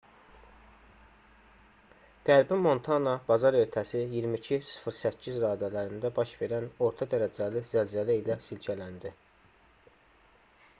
qərbi montana bazar ertəsi 22:08 radələrində baş verən orta dərəcəli zəlzələ ilə silkələndi